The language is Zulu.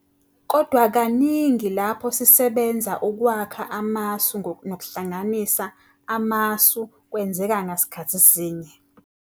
Kodwa kaningi lapho sisebenza ukwakha amasu nokuhlanganisa amasu kwenzeka ngasikhathi sinye.